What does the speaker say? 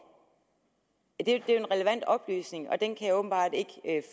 det er jo relevant oplysning og den kan jeg åbenbart ikke